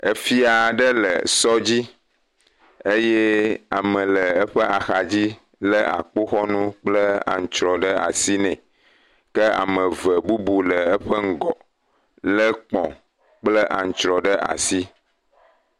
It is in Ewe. Efia ɖe le sɔ dzi eye ame le eƒe axadzi lé akpoxɔnu kple antsrɔ ɖe asi nɛ. Ke ame eve bubu le eƒe ŋgɔ, lé kpɔ̃ kple antsrɔe ɖe asi.